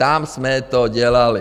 Tam jsme to dělali.